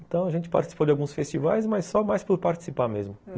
Então a gente participou de alguns festivais, mas só mais por participar mesmo.